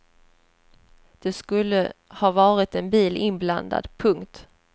Det skulle ha varit en bil inblandad. punkt